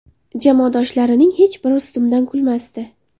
Jamoadoshlarining hech biri ustimdan kulmasdi.